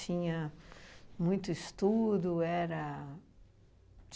muito estudo? Era